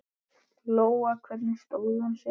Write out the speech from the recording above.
Lóa: Hvernig stóð hún sig?